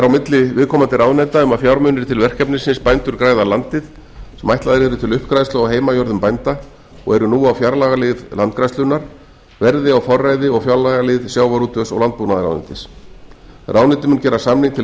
á milli viðkomandi ráðuneyta um að fjármunir til verkefnisins bændur græða landið sem ætlaðir eru til uppgræðslu á heimajörðum bænda og eru nú á fjárlagalið landgræðslunnar verði á forræði og fjárlagalið sjávarútvegs og landbúnaðarráðuneytis ráðuneytið mun gera samning til